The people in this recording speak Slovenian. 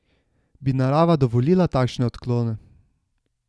Bi narava dovolila takšne odklone?